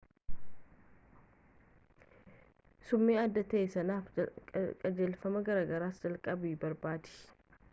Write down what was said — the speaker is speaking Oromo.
summii addaa ta'ee sanaaf qajeelfamaa gargaarsa jalqabaa barbaadi